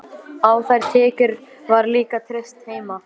Á þær tekjur var líka treyst heima.